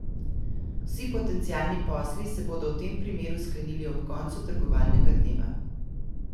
Vsi potencialni posli se bodo v tem primeru sklenili ob koncu trgovalnega dneva.